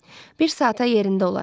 Bir saata yerində olarıq.